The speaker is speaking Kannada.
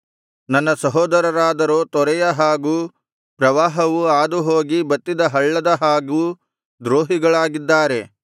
ನನ್ನ ಸಹೋದರರಾದರೋ ತೊರೆಯ ಹಾಗೂ ಪ್ರವಾಹವು ಹಾದುಹೋಗಿ ಬತ್ತಿದ ಹಳ್ಳದ ಹಾಗೂ ದ್ರೋಹಿಗಳಾಗಿದ್ದಾರೆ